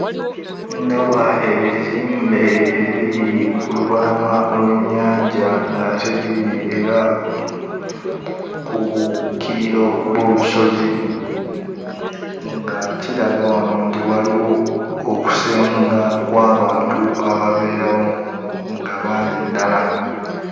Ndaba ebizimbe ebiri ku lubalama lw'ennyanja nga ate biri era ku kkiriro gw'olusozi nga kiraga wano nti waliwo okusenga kw'abantu ababeerawo nga bangi ddala.